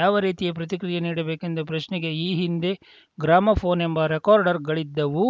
ಯಾವ ರೀತಿಯ ಪ್ರತಿಕ್ರಿಯೆ ನೀಡಬೇಕೆಂದು ಪ್ರಶ್ನೆಗೆ ಈ ಹಿಂದೆ ಗ್ರಾಮೋಫೋನ್‌ ಎಂಬ ರೆಕಾರ್ಡರ್‌ಗಳಿದ್ದವು